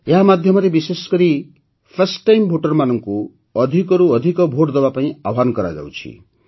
ଏହା ମାଧ୍ୟମରେ ବିଶେଷକରି ଫର୍ଷ୍ଟ ଟାଇମ୍ Voterମାନଙ୍କୁ ଅଧିକରୁ ଅଧିକ ଭୋଟ ଦେବାକୁ ଆହ୍ୱାନ କରାଯାଇଛି